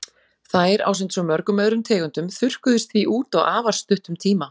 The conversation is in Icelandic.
Þær, ásamt svo mörgum öðrum tegundum, þurrkuðust því út á afar stuttum tíma.